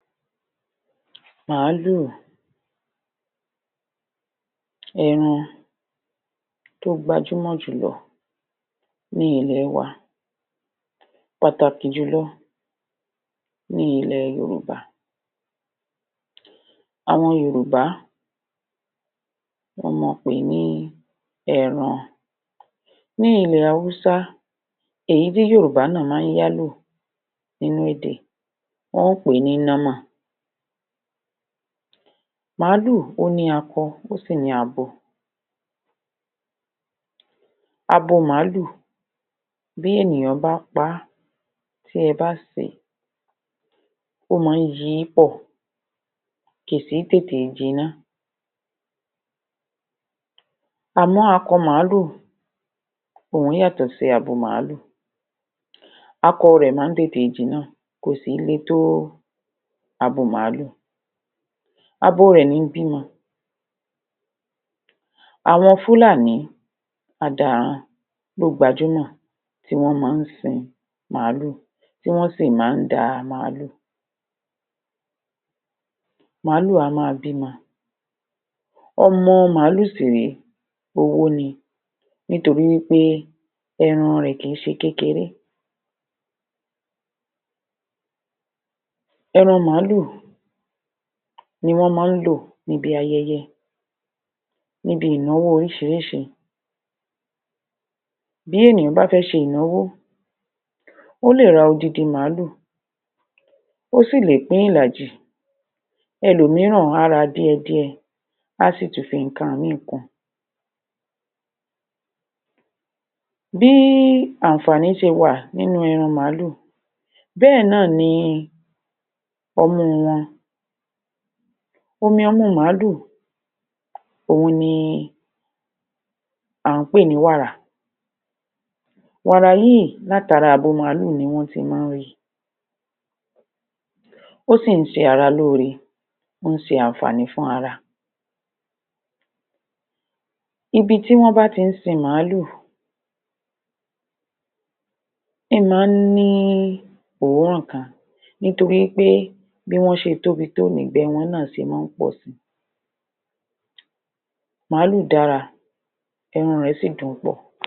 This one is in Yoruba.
Màlúù, ẹran tó gbajúmọ̀ jùlọ ní ilẹ̀ wa, pàtàkì jùlọ ní ilẹ̀ Yorùbá. Àwọn Yorùbá, wọ́n máa pè ní ẹran, ní ilè Hausa, ìyí tí Yorùbá náà máa ń yá ló nínú èdè, wọ́n pè é ní nọ́mọ̀ màlúù, ó ní akọ, ó sì ní abo abo màlúù, bí ènìyàn bá paá, tí ẹ bá sè é, ó máa ń yi pọ̀ kì sìí tètè jiná àmọ akọ màlúù, òun yàtọ̀ sí abo màlúù, akọ rẹ̀ máa ń tètè jiná, kò sì í le tó abo màlúù abo rẹ̀ ní bímọ àwọn Fulani adaran ló gbajúmọ̀, tí wọ́n máa ń sin màlúù tí wọ́n sì máa ń da màlúù màlúù á máa b'ímọ, ọmọ màlúù sì rèé, owó ni nítorí wí pé ẹran rẹ̀ kìí ṣe kékeré. Ẹran màlúù ni wọ́n máa ń lò níbi ayẹyẹ, níbi ìnáwọ́ oríṣiríṣi, bí ènìyàn bá fẹ́ ṣe ìnáwó, ó lè ra odidin màlúù, ó sì lè pín ìlàjì ẹlòmìíràn á ra díẹ̀díẹ̀, á sì tún fi nǹkan míì kun. Bí àǹfààní ṣe wà nínú ẹran màlúù, bẹ́ẹ̀ náà ni ọmú wọn omi ọmú màlúù òun ni à ń pè ní wàrà, wàrà yìí láti ara abo màlúù ni wọ́n ti máa ń ri ó sì ń ṣe ara lóore, ó ń ṣe àǹfààní fún ara. Ibi tí wọ́n bá ti ń sin màlúù ń máa ní òórùn kan nítorí wí pé bí wọ́n ṣe tóbi tó ni ìgbé wọn náà ṣe máa ń pọ̀si. Màlúù dára, ẹran rẹ̀ sí dùn pọ̀.?